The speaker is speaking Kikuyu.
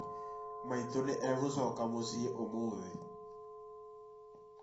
Maitũ nĩ egũcoka mũciĩ ũmũthĩ